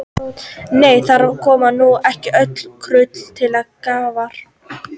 Nei, þar koma nú ekki öll kurl til grafar.